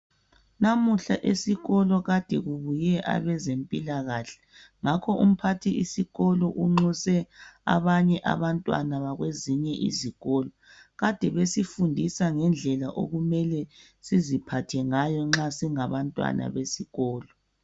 Namuhla esikolo kade kubuye abezempilakahle. Ngakho umphathisikolo unxuse abanye abantwana bakwezinye izikolo. Kade besifundisa ngendlela okumele siziphathe ngayo nxa singabantwana besikolo.